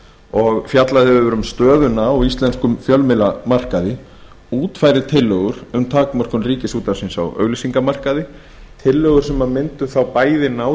og fjallað hefur um stöðuna á íslenskum fjölmiðlamarkaði útfæri tillögur um takmörkun ríkisútvarpsins á auglýsingamarkaði tillögur sem mundu bæði ná